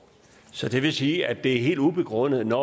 så det vil sige at det er helt ubegrundet når